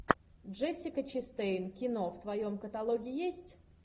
джессика честейн кино в твоем каталоге есть